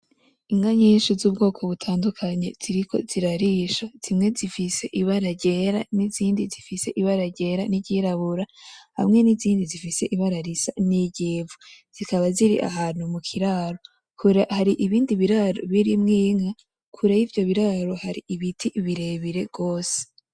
Inka nyinshi zubwoko butandukanye ziriko zirarisha, zimwe zifise Ibara ryera n'izindi zifise Ibara ryera niry'irabura hamwe n'izindi zifise Ibara risa niry'ivu zikaba ziri ahantu mukiraro, hari ibindi biraro birimwo Inka, kure yivyo biraro hari ibiti birebire gose.